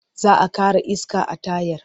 Za a ƙara iska a tayar.